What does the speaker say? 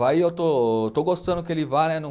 Vai e eu estou, estou gostando que ele vá né